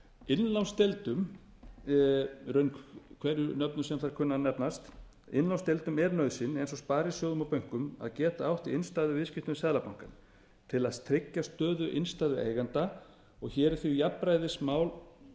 innlánsdeildum í raun hverju nafni sem þær kunna að nefnast innlánsdeildum er nauðsyn eins og sparisjóðum og bönkum að geta átt í innstæðuviðskiptum við seðlabankann til að tryggja stöðu innstæðueigenda hér er því um jafnræðismál